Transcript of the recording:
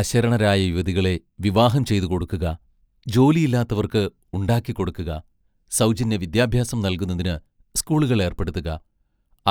അശരണരായ യുവതികളെ വിവാഹം ചെയ്തു കൊടുക്കുക; ജോലിയില്ലാത്തവർക്ക് ഉണ്ടാക്കിക്കൊടുക്കുക, സൗജന്യ വിദ്യാഭ്യാസം നൽകുന്നതിന് സ്കൂളുകൾ ഏർപ്പെടുത്തുക;